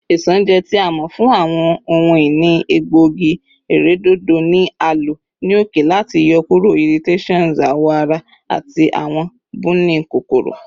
Isanaje, ti a mọ fun awọn ohun-ini egboogi-iredodo, ni a lo ni oke lati yọkuro irritations awọ ara ati awọn buni kokoro.